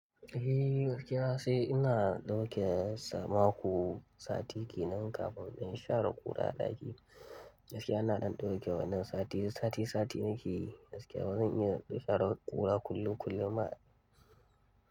Eh, gaskiya sai ina dauke sama ko sati kenan kafin in share ƙura a ɗaki. Gaskiya ina dandauke wannan sati sati sati nake gaskiya bazan iya share ƙura kullum kullum ba.